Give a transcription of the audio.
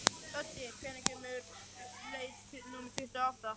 Öddi, hvenær kemur leið númer tuttugu og átta?